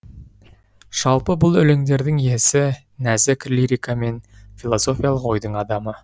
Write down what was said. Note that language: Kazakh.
жалпы бұл өлеңдердің иесі нәзік лирика мен филологиялық ойдың адамы